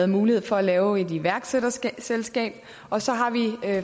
mulighed for at lave et iværksætterselskab og så har vi